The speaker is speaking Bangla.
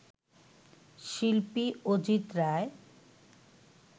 শিল্পী অজিত রায়